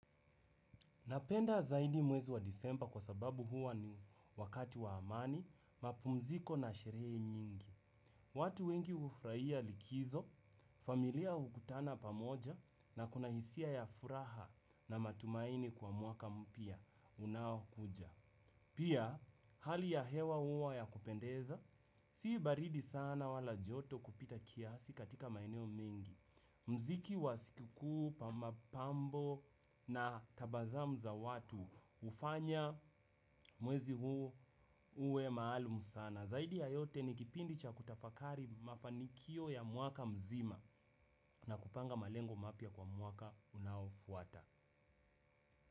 Napenda zaidi mwezi wa disemba kwa sababu huwa ni wakati wa amani, mapumziko na sherehe nyingi. Watu wengi ufurahia likizo, familia hukutana pamoja na kuna hisia ya furaha na matumaini kwa mwaka mpya unaokuja. Pia, hali ya hewa uwa ya kupendeza, si baridi sana wala joto kupita kiasi katika maeneo mengi. Mziki wa siku kuu, pa mapambo na tabazamu za watu ufanya mwezi huu uwe maalum sana. Zaidi ya yote ni kipindi cha kutafakari mafanikio ya mwaka mzima na kupanga malengo mapya kwa mwaka unaofuata.